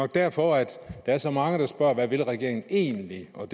derfor at der er så mange der spørger hvad regeringen egentlig vil og